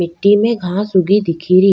मिट्टी में घास उगी दिखे री।